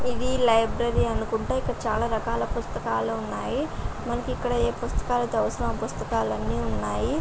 ఇది లైబ్రరీ అనకుంటా ఇక్కడ చాలా రకాల పుస్తకాలు ఉనాయి. మనకి ఇక్కడ ఏ పుస్తకాలతో అవసరం ఆ పుస్తకాలు అన్ని ఉనాయి.